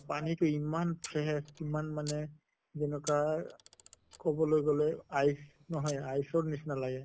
পানী টো ইমান fresh ইমান মানে যেনকা কʼব লৈ গʼলে ice নহয় ice ৰ নিছিনা লাগে।